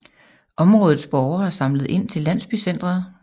Områdets borgere samlede ind til landsbycenteret